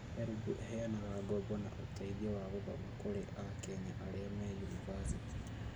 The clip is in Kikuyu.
HELB ĩheanaga ngoombo na ũteithio wa gũthoma kũri a Kenya arĩa me yunibathĩtĩ